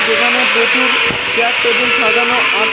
এখানে প্রচুর chair table সাজানো আ--